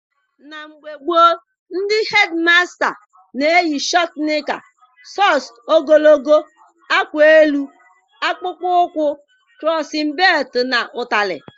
Na mgbe gboo, ndị hedịmasta na-eyi shọtụ nịka, sọks ogologo, akwa elu, akpụkpọ ụkwụ, krọsin belụtụ na ụtarị.